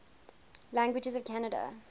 languages of canada